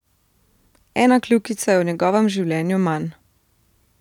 Ena kljukica je v njegovem življenju manj.